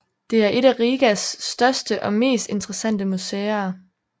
Det er et af Rigas største og mest interessante museer